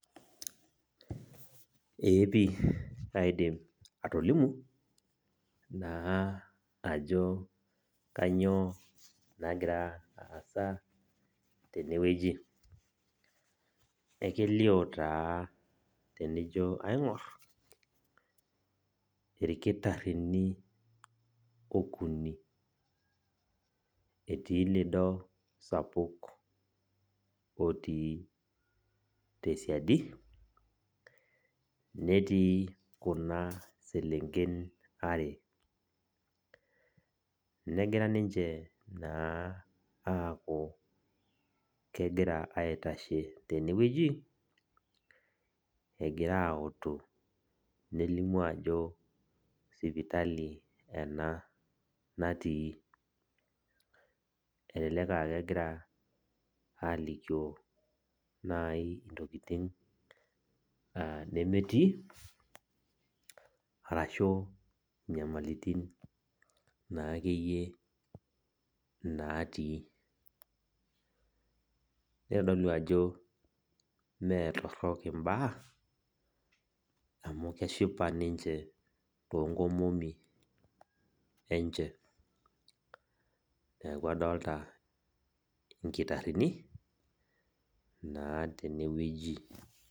Ee pi kaidim atolimu, naa ajo kanyioo nagira aasa tenewueji. Ekelio taa tenijo aing'or, irkitaarrini okuni. Etii lido sapuk otii tesiadi, netii kuna selenken are. Negira ninche naa aaku kegira aitashe tenewueji, egira autu nelimu ajo sipitali ena natii. Elelek ah kegira alikio nai intokiting nemetii, arashu nyamalitin na akeyie natii. Nitodolu ajo metorrok imbaa, amu keshipa ninche tonkomomi enche. Neeku adolta inkitarrini, naa tenewueji.